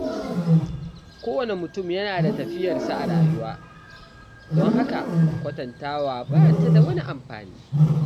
Kowane mutum yana da tafiyarsa a rayuwa, don haka kwatantawa ba ta da amfani.